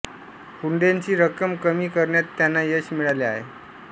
हुंड्याची रक्कम कमी करण्यात त्यांना यश मिळाले आहे